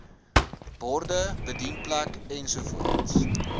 borde bedienplek ensovoorts